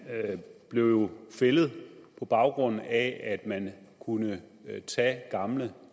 blev jo fældet på baggrund af at man kunne tage gamle